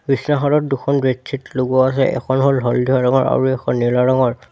বিছনাখনত দুখন বেডশ্বীট লগোৱা আছে এখন হ'ল হালধীয়া ৰঙৰ আৰু এখন নীলা ৰঙৰ।